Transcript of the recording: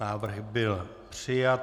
Návrh byl přijat.